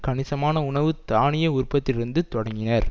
கணிசமான உணவு தானிய உற்பத்தியிலிருந்து தொடங்கினர்